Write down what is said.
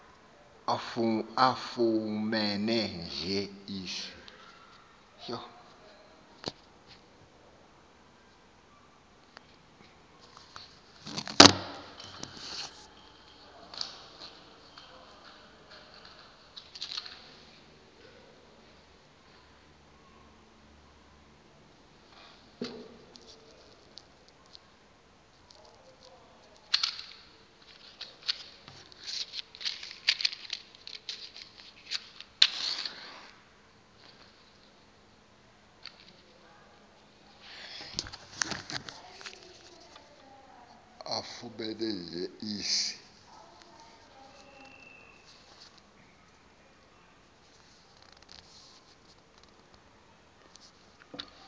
afumene nje isi